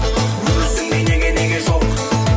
өзіңдей неге неге жоқ